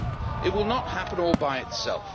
It will not happen all by itself.